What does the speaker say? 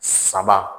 Saba